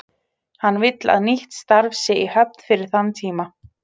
Hann vill að nýtt starf sé í höfn fyrir þann tíma.